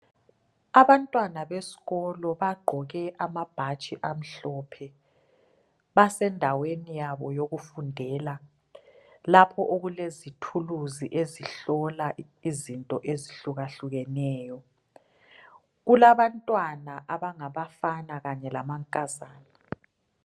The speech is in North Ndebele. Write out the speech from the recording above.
Abantwana besikolo bagqoke amabhatshi amhlophe. Basendaweni yabo yokufundela lapho okulezithuluzi ezihlola izinto ezihlukahlukeneyo. Kulabantwana abangabafana kanye lamankazana.